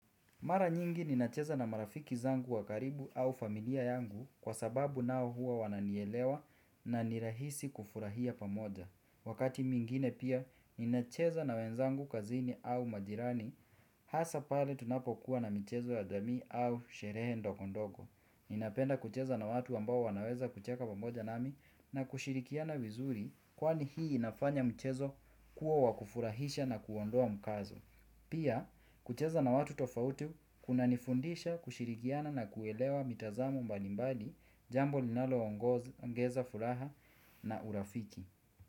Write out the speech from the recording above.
Mara nyingi ninacheza na marafiki zangu wa karibu au familia yangu kwa sababu nao huwa wananielewa na nirahisi kufurahia pamoja. Wakati mwingine pia ninacheza na wenzangu kazini au majirani, hasa pale tunapokuwa na michezo ya jamii au sherehe ndogo ndogo. Ninapenda kucheza na watu ambao wanaweza kucheka pamoja nami na kushirikiana vizuri kwani hii inafanya mchezo kuwa wakufurahisha na kuondoa mkazo. Pia, kucheza na watu tofauti kunanifundisha kushirikiana na kuelewa mitazamo mbalimbali jambo linaloongeza, furaha na urafiki.